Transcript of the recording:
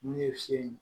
N'u ye si